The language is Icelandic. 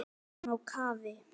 Við erum á kafi.